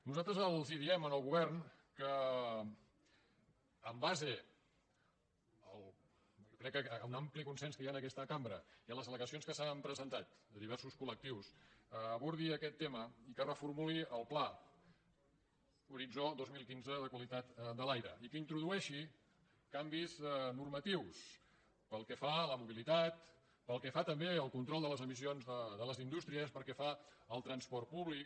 nosaltres els diem al govern que amb base crec que en un ampli consens que hi ha en aquesta cambra i a les al·legacions que s’han presentat de diversos collectius abordi aquest tema i que reformuli el pla horitzó dos mil quinze de qualitat de l’aire i que introdueixi canvis normatius pel que fa a la mobilitat pel que fa també al control de les emissions de les indústries pel que fa al transport públic